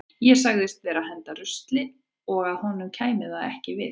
Ég sagðist vera að henda rusli og að honum kæmi það ekki við.